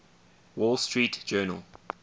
wall street journal